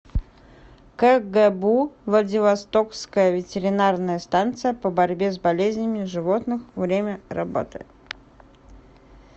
кгбу владивостокская ветеринарная станция по борьбе с болезнями животных время работы